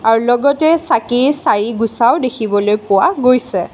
লগতে চাকি চাৰি গুছাও দেখিবলৈ পোৱা গৈছে।